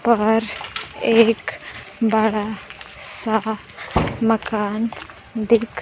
पाहर एक बड़ा सा मकान दिख--